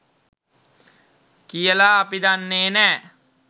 කියලා අපි දන්නේ නැහැ.